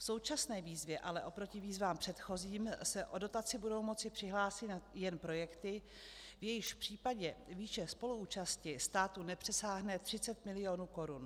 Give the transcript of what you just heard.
V současné výzvě ale oproti výzvám předchozím se o dotaci budou moci přihlásit jen projekty, v jejichž případě výše spoluúčasti státu nepřesáhne 30 milionů korun.